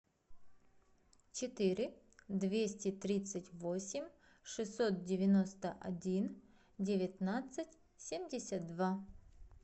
четыре двести тридцать восемь шестьсот девяносто один девятнадцать семьдесят два